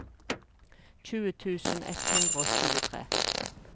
tjue tusen ett hundre og tjuetre